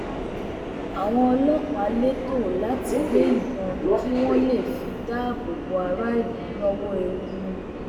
àwọn ọlọpàá lẹtọọ láti gbé ìbọn kí wọn lè fi dáàbò bo aráàlú lọwọ ewu